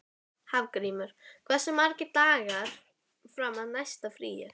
Hafgrímur, hversu margir dagar fram að næsta fríi?